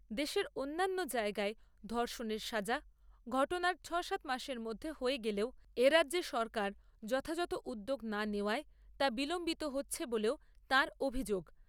দেশের অন্যান্য জায়গায় ধর্ষণের সাজা, ঘটনার সাতষট্টি মাসের মধ্যে হয়ে গেলেও, এ রাজ্যে সরকার যথাযথ উদ্যোগ না নেওয়ায়, তা বিলম্বিত হচ্ছে বলেও তাঁর অভিযোগ।